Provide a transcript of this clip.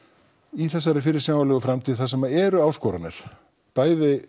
í þessari fyrirsjáanlegu framtíð þar sem þar eru áskoranir bæði